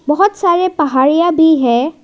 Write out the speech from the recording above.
बहोत सारे पहाड़ियाँ भी हैं।